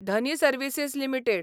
Dhani services limited